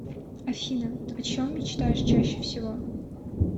афина о чем мечтаешь чаще всего